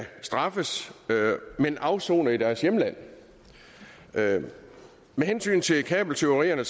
straffes men afsone i deres hjemland med hensyn til kabeltyverierne